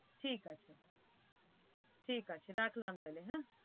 ঠিক আছে ঠিক আছে রাখলাম তাহলে হ্যাঁ।